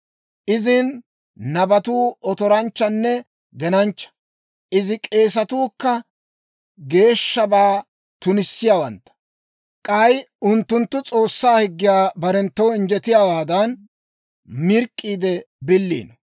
Izin nabatuu otoranchchanne genanchcha. Izi k'eesatuu kka geeshshabaa tunissiyaawantta; k'ay unttunttu S'oossaa higgiyaa barenttoo injjetiyaawaadan, mirk'k'iide biliino.